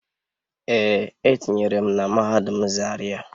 Ee, etinyere m na mahadum zaria